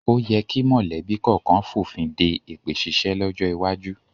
O yẹ kí mọ̀lẹ́bí kọ̀ọ̀kan fònfin de èpè ṣíṣe lọ́jọ́ iwájú